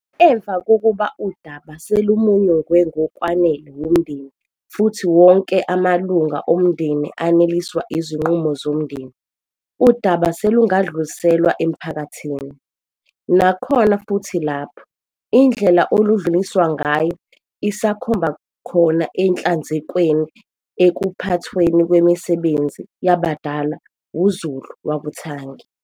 Emva kokuba udaba selumunyungwe ngokwanele wumndeni futhi wonke amalunga omndeni aneliswa izinqumo zomndeni, udaba selungadluliselwa emphakathini. Nakhona futhi lapho, indlela oludluliswa ngayo isakhomba khona enhlanzekweni ekuphathweni kwemisebenzi yabadala wuZulu wakuthangi.